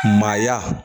Maaya